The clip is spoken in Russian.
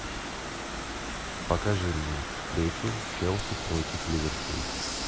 покажи мне встречу челси против ливерпуль